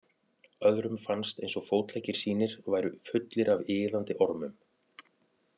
Öðrum fannst eins og fótleggir sínir væru fullir af iðandi ormum.